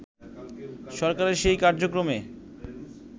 সরকারের সেই কার্যক্রমে